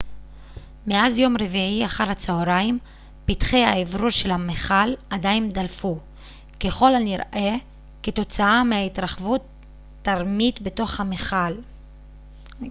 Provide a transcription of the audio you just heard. מאז יום רביעי אחר הצהריים פתחי האוורור של המכל עדיין דלפו ככל הנראה כתוצאה מהתרחבות תרמית בתוך המכל